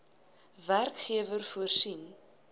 werkgewer voorsien